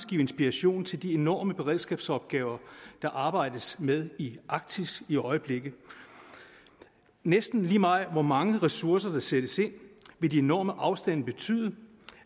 give inspiration til de enorme beredskabsopgaver der arbejdes med i arktis i øjeblikket næsten lige meget hvor mange ressourcer der sættes ind vil de enorme afstande betyde